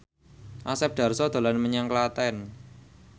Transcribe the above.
Asep Darso dolan menyang Klaten